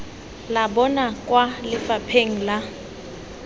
la bona kwa lefapheng la